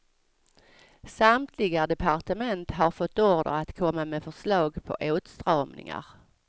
Samtliga departement har fått order att komma med förslag på åtstramningar.